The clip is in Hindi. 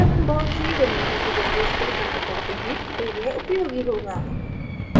जब हम बहुत सी remote repositories पर कार्य करते हैं तो यह उपयोगी होगा